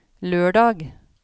lørdag